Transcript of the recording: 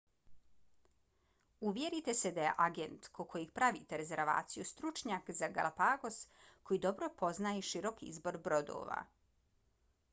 uvjerite se da je agent kod kojeg pravite rezervaciju stručnjak za galapagos koji dobro poznaje širok izbor brodova